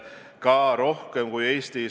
On näha, et haigus on haaranud ikkagi kogu maailma.